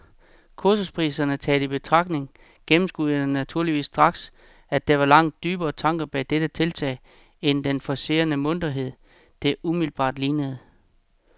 Kursusprisen taget i betragtning gennemskuede jeg naturligvis straks, at der var langt dybere tanker bag dette tiltag end den forcerede munterhed, det umiddelbart lignede.